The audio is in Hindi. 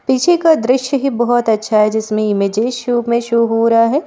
पीछे का दृश्य ही बहोत अच्छा है जिसमें इमेजेस शो में शो हो रहा है।